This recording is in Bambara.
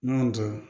N'an y'o dɔn